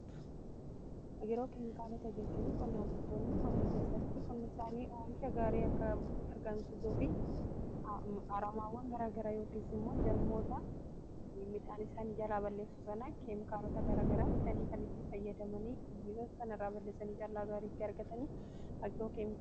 Agiroo-keemkaalota jechuun qonnaan bultoonni qonna keessatti qonni isaanii oomisha gaarii akka argamsisuu fi haramaawwan garaagaraa yookiis immoo jarmoota midhaan isaanii jalaa balleessu sana keemkaalota garaagaraa bitaanii kan itti fayyadamanii miidhaa sana irraa balleessanii callaa gaarii itti argatanii agiroo-keemikaalota....